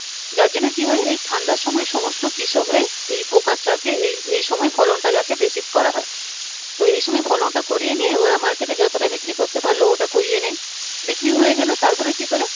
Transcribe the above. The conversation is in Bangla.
যার জন্যে কি হয় এই ঠান্ডার সময়ে সমস্ত কৃষকরাই এই focus রাখে এই এই সময়ে ফলন টা যাতে বেশি করা হয় তো এই সময়ে ফলন টা করিয়ে নিয়ে ওরা market এ যতটা বিক্রি করতে পারলো ওটা করিয়ে নেয় বিক্রি হয় গেলে তারপরে কি করে